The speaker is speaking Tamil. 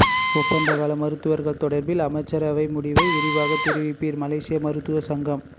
ஒப்பந்த கால மருத்துவர்கள் தொடர்பில் அமைச்சரவை முடிவை விரைவாக தெரிவிப்பீர் மலேசிய மருத்துவ சங்கம்